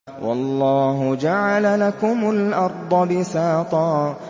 وَاللَّهُ جَعَلَ لَكُمُ الْأَرْضَ بِسَاطًا